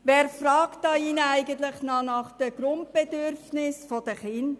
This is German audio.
Wer fragt hier drin noch nach den Grundbedürfnissen der Kinder?